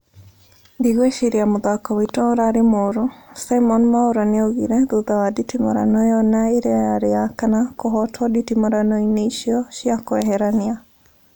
"Ndigwĩciria mũthako witũ ũrarĩ mũru" Simon Mwaura nĩaugire thutha wa nditimũrano ĩyo na ĩrĩa yarĩ ya kana kũhotwo nditimũrano ĩno icio cia kweherania